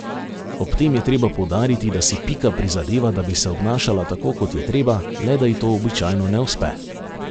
Ob tem je treba poudariti, da si Pika prizadeva, da bi se obnašala tako, kot je treba, le da ji to običajno ne uspe.